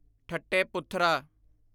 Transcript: ਠੱਟੇ ਪੁਥਰਾ